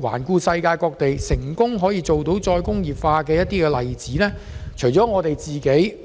環顧世界各地成功再工業化的例子，除了內地